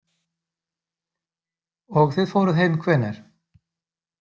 Og þið fóruð heim hvenær?